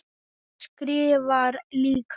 Móðir hans skrifar líka.